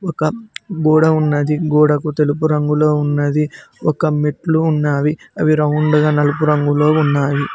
ఒక గోడ ఉన్నది గోడకు తెలుపు రంగులో ఉన్నది ఒక మెట్లు ఉన్నావి అవి రౌండ్ గా నలుపు రంగులో ఉన్నావి.